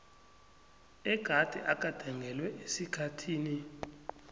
egade agandelelwe esikhathini